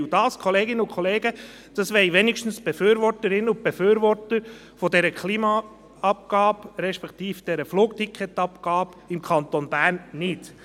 Das, Kolleginnen und Kollegen, das wollen zumindest die Befürworterinnen und Befürworter der Klimaabgabe, respektive der Flugticketabgabe, im Kanton Bern nicht.